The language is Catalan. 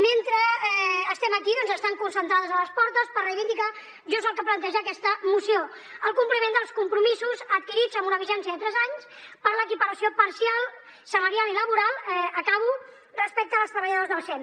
mentre estem aquí doncs estan concentrades a les portes per reivindicar just el que planteja aquesta moció el compliment dels compromisos adquirits amb una vigència de tres anys per a l’equiparació salarial i laboral respecte als treballadors del sem